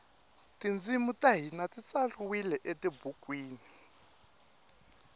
tintshimi tahhina titsaliwe etibhukwini